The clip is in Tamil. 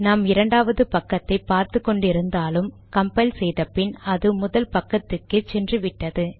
நாம் இரண்டாவது பக்கத்தை பார்த்து கொண்டு இருந்தாலும் கம்பைல் செய்த பின் அது முதல் பக்கத்துக்கே சென்று விட்டது